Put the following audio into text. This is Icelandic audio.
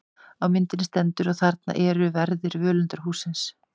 Á myndinni stendur: Og þarna eru verðir völundarhússins.